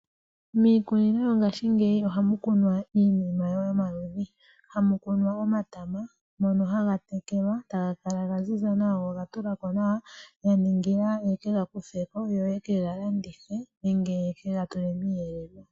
Miikunino mongashingeya ohamu kunwa iinima yomaludhi . Hamu kunwa omatama ngono haga tekelwa taga kala ga ziza nawa go ogatulako nawa ya ningila ye kega kutheko yo yeke ga landithe nenge yeke gatule miiyelelwa.